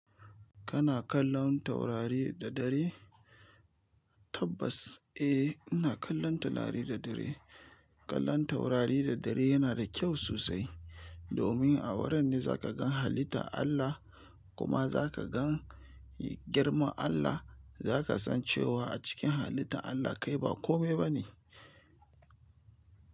Kana kallon taurari da dare? Tabbas ae ina kallon taurari da dare kallon taurari da dare yana ƙyau sosai. Domin a wurin ne zaka gan halitta Allah kuma zaka gan girman Allah. Zaka san cewa a cikin halittan Allah kai ba kome bane.